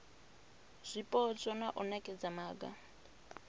zwipotso na u nekedza maga